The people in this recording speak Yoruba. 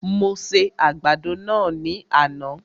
Mo se àgbàdo náà ní àná